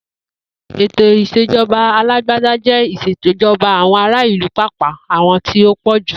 Ètò ìs̩èjo̩ba alágbádá jé̩ ìs̩èjo̩ba àwo̩n ará ìlú pàápàá àwo̩n tí ó pò̩jù